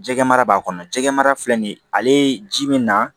Jɛgɛ mara b'a kɔnɔ jɛgɛmara filɛ nin ye ale ji min na